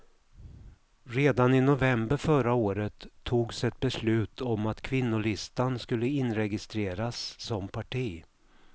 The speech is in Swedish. Redan i november förra året togs ett beslut om att kvinnolistan skulle inregistreras som parti.